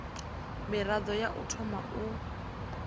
mirado ya u thoma u